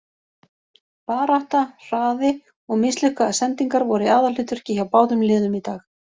Barátta, hraði, og mislukkaðar sendingar voru í aðalhlutverki hjá báðum liðum í dag.